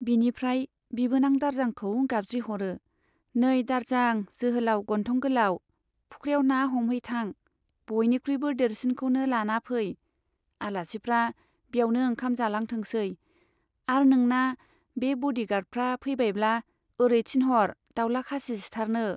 बिनिफ्राय बिबोनां दारजांखौ गाबज्रिह'रो , नै दारजां जोहोलाउ गन्थं गोलाव, फुख्रियाव ना हमहैथां , बयनिख्रुइबो देरसिनखौनो लाना फै , आलासिफ्रा ब्यावनो ओंखाम जालांथोंसै आर नोंना बे बडी गार्डफ्रा फैबायब्ला ओरै थिनह'र दाउला खासि सिथारनो।